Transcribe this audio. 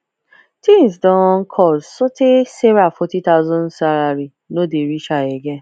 things don cost so tey sarah forty thousand salary no dey reach her again